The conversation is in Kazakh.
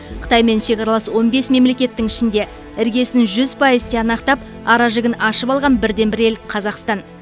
қытаймен шекаралас он бес мемлекеттің ішінде іргесін жүз пайыз тиянақтап аражігін ашып алған бірден бір ел қазақстан